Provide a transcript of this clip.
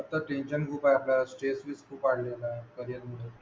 आता टेन्शन खूप वाढला स्रेस